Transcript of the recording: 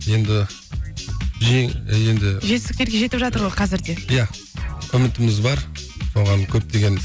енді енді жетістіктерге жетіп жатыр ғой қазір де иә үмітіміз бар оған көптеген